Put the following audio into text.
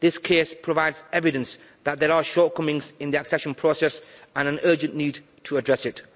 This case provides evidence that there are shortcomings in the accession process and an urgent need to address it.